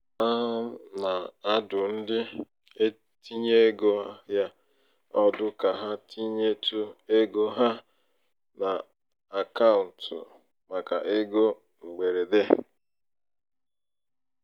a um na-adụ ndị ntinye ego ahịa um ọdụ ka ha tinyetụ ego ha n'akaụtụ um màkà ego mgberede.